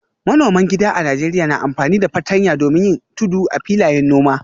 Manoman gida a Najeriya na amfani da fartanya domin yin tudu a filayen noma.